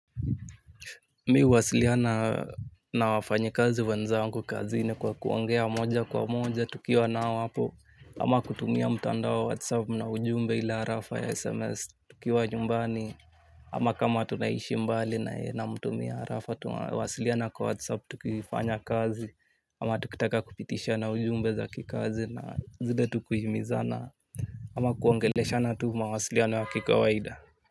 Mimi huwasiliana na wafanyi kazi wenzangu kazini kwa kuongea moja kwa moja tukiwa nao hapo. Ama kutumia mtandao WhatsApp na ujumbe ile arafa ya SMS tukiwa nyumbani. Ama kama tunaishi mbali naye namtumia arafa tunawasiliana kwa WhatsApp tukifanya kazi. Ama tukitaka kupitishana ujumbe za kikazi na zile tukihimizana. Ama kuongeleshana tu mawasiliano ya kikawaida.